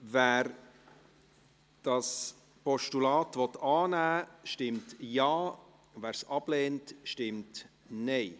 Wer das Postulat annehmen will, stimmt Ja, wer es ablehnt, stimmt Nein.